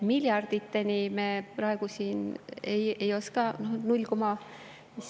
Miljardites ma praegu ei oska öelda …